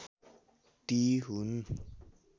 ती हुन्